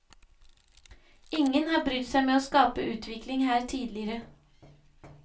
Ingen har brydd seg med å skape utvikling her tidligere.